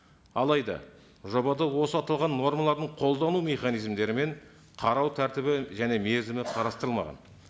алайда жобада осы аталған нормалардың қолдану механизмдері мен қарау тәртібі және мерзімі қарастырылмаған